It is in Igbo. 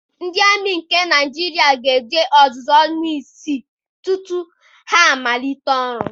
Ndị amị nke Naịjirịa na-eje ọzụzụ ọnwa isii tutu ha malite ọrụ.